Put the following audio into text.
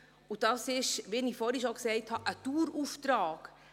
Und das ist, wie ich vorhin schon gesagt habe, ein Dauerauftrag.